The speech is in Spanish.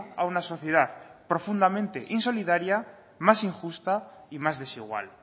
a una sociedad profundamente insolidaria más injusta y más desigual